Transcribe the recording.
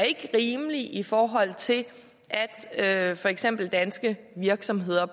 ikke er rimelig i forhold til at for eksempel danske virksomheder